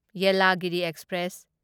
Yelagiri express